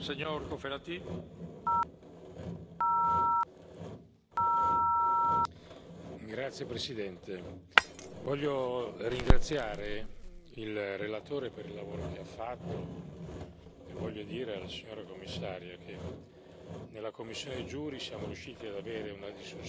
Signor Presidente, onorevoli colleghi, voglio ringraziare il relatore per il lavoro che ha fatto e voglio dire alla signora Commissaria che nella commissione JURI siamo riusciti ad avere una discussione che riteniamo importante ed efficace, grazie ad un clima politico quale